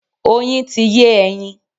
Oyin ti yé ẹyin.